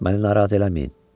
Məni narahat eləməyin.